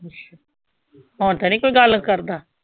ਹੁਣ ਤਾਂ ਨੀ ਕੋਈ ਗੱਲ ਕਰਦਾ?